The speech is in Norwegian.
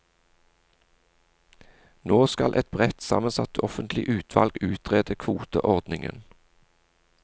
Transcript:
Nå skal et bredt sammensatt offentlig utvalg utrede kvoteordningen.